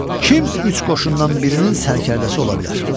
Kim üç qoşundan birinin sərkərdəsi ola bilər?